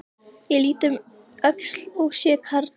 Upphaf heildrænnar hjúkrunar er rakið til þessara atburða.